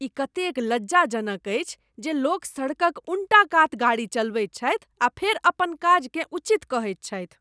ई कतेक लज्जाजनक अछि जे लोक सड़कक उन्टा कात गाड़ी चलबैत छथि आ फेर अपन काजकेँ उचित कहैत छथि।